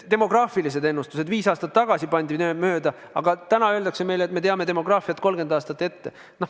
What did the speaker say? Demograafilised ennustused viis aastat tagasi pandi mööda, aga täna öeldakse meile, et me teame demograafiat 30 aastat ette.